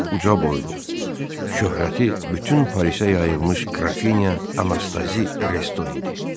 Bu uca boylu, şöhrəti bütün Parisə yayılmış qrafinya Anastazi Resto idi.